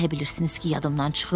Elə bilirsiniz ki, yadımdan çıxıb?